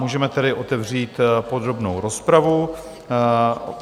Můžeme tedy otevřít podrobnou rozpravu.